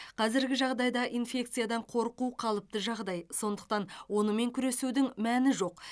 қазіргі жағдайда инфекциядан қорқу қалыпты жағдай сондықтан онымен күресудің мәні жоқ